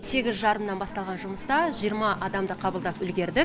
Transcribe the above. сегіз жарымнан басталған жұмыста жиырма адамды қабылдап үлгердік